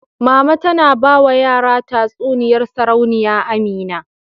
Mama tana ba wa yara tatsuniyar Sarauniya Amina.